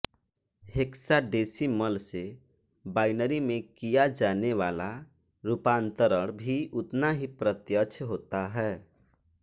hexadecimal से binary में किया जाने वाला रूपांतरण भी उतना ही प्रत्यक्ष होता है